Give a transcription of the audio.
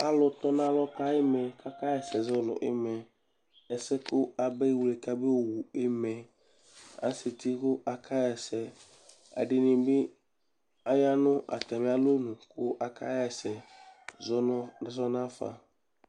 ɔlɔdɩ tɔ nʊ alɔ kʊ ayɩlɛ akʊ zɛ ɛlʊmɔ sʊ nʊ ɛsɛ amɛxmle ka meyʊi aya nʊ alɛ tʊ kʊ akayɛsɛ zɔnafa